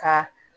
Ka